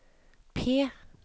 P